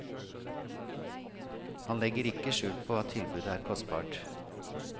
Han legger ikke skjul på at tilbudet er kostbart.